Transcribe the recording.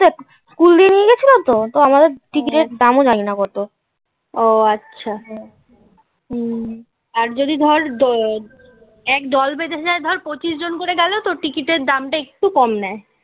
তো আমাদের টিকিটের দামও জানি না কত. ও আচ্ছা. হুম. হুম. আর যদি ধর এক দল বেঁধে যায় ধর পঁচিশ জন করে গেল তো. টিকিটের দামটা একটু কম নেয়